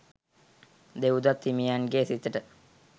දෙව්දත් හිමියන්ගේ සිතට